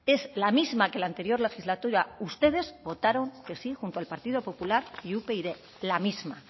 es la misma que la anterior legislatura ustedes votaron que sí junto al partido popular y upyd la misma